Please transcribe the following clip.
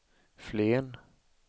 Flen